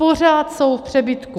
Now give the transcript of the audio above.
Pořád jsou v přebytku.